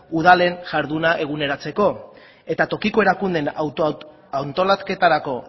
udalen jarduna eguneratzeko eta tokiko erakundeen antolaketarako